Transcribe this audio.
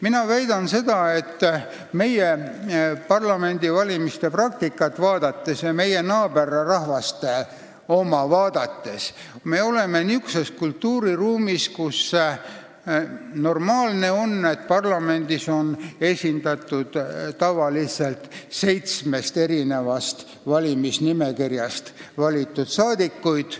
Mina väidan meie ja meie naaberrahvaste parlamendivalimiste praktikat vaadates, et me oleme niisuguses kultuuriruumis, kus on normaalne, et parlamendis on tavaliselt seitsmest valimisnimekirjast valitud saadikud.